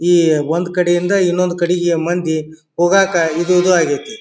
ಈ ಒಂದ್ ಕಡೆಯಿಂದ ಇನೊಂದ ಕಡೆಗೆ ಮಂದಿ ಹೋಗಕ್ ಇದು ಇದು ಆಗ್ಯತಿ.